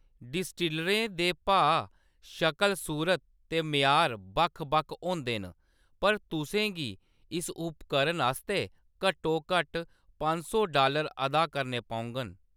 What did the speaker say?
डिस्टिलरें दे भाऽ, शकल-सूरत ते म्यार बक्ख-बक्ख होंदे न , पर तु'सें गी इस उपकरण आस्तै घट्टोघट्ट पंज सौ डालर अदा करने पौङन।